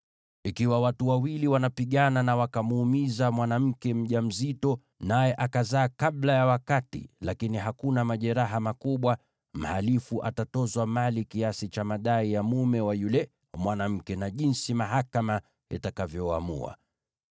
“Ikiwa watu wawili wanapigana na wakamuumiza mwanamke mjamzito, naye akazaa kabla ya wakati lakini hakuna majeraha makubwa, mhalifu atatozwa mali kiasi cha madai ya mume wa yule mwanamke, na jinsi mahakama itakavyoamua.